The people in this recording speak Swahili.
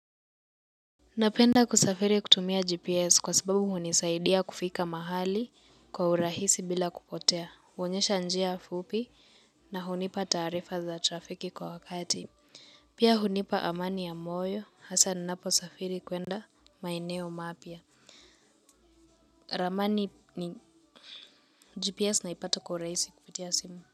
Napenda kusafiri kutumia GPS kwa sababu hunisaidia kufika mahali kwa urahisi bila kupotea. Hoonyesha njia fupi na hunipa taarifa za trafiki kwa wakati. Pia hunipa amani ya moyo, hasa ninaposafiri kwenda maeneo mapya. Ramani ni GPS naipata kwa urahisi kupitia simu.